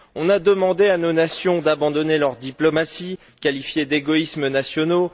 On a demandé à nos nations d'abandonner leurs diplomaties, qualifiées d'égoïsmes nationaux.